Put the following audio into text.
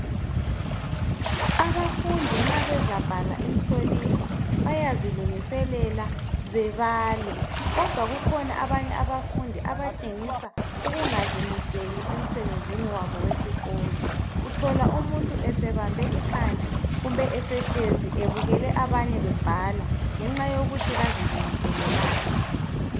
Abafundi nxa bezabhala imihloliso bayazilungiselela bebale kodwa kukhona abanye abafundi abatshengisa ukungazimiseli emsebenzini wabo wesikolo. Uthola umuntu sebambe ikhanda kumbe esehlezi ebukele abanye bebhala ngenxa yokuthi kazilungiselelanga